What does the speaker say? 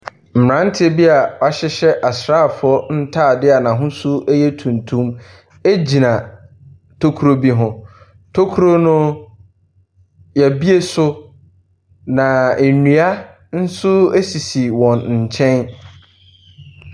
Mmeranteɛ bi a wɔahyehyɛ asrafo ntaade a n’ahosuo yɛ tuntum gyina tokuro bi mu. Tokuro no, yɛbue so na nnua nso sisi wɔn nkyɛn.